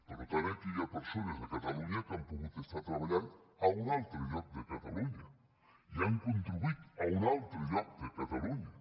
per tant aquí hi ha persones a catalunya que han pogut treballar a un altre lloc de catalunya i han contribuït a un altre lloc de catalunya